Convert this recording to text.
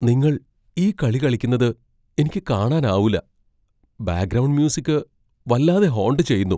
നിങ്ങൾ ഈ കളി കളിക്കുന്നത് എനിക്ക് കാണാൻ ആവൂല്ല. ബാക്ക്ഗ്രൗണ്ട് മ്യൂസിക് വല്ലാതെ ഹോണ്ട് ചെയ്യുന്നു.